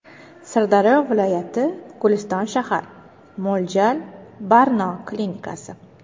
Sirdaryo viloyati Guliston shahar Mo‘ljal: Barno klinikasi.